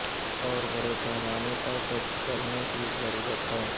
اور بڑے پیمانے پر ٹیسٹ کرنے کی ضرورت ہے